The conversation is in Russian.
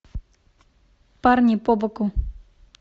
парни побоку